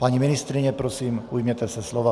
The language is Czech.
Paní ministryně, prosím, ujměte se slova.